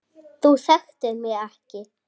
Þú þekktir mig ekki.